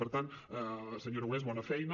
per tant senyor aragonès bona feina